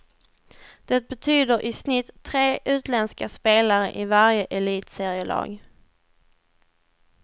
Det betyder i snitt tre utländska spelare i varje elitserielag.